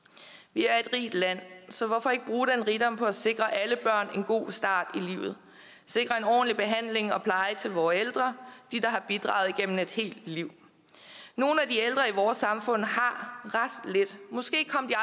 vi er et rigt land så hvorfor ikke bruge den rigdom på at sikre alle børn en god start i livet sikre en ordentlig behandling og pleje til vore ældre de der har bidraget igennem et helt liv nogle af de ældre i vores samfund har ret lidt måske kom de